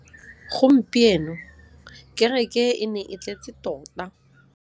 Gompieno kêrêkê e ne e tletse tota.